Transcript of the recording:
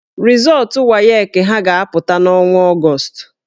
Rịzọọtụ WAEC ha ga-apụta n'ọnwa Ọgọọst